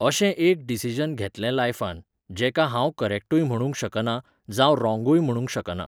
अशें एक डिसिजन घेतलें लायफांत, जेका हांव करेक्टूय म्हणूंक शकना जावं ऱोंग य म्हणूंक शकना